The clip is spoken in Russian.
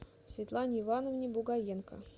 светлане ивановне бугаенко